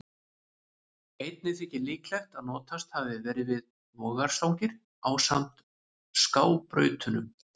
Einnig þykir líklegt að notast hafi verið við vogarstangir ásamt skábrautunum.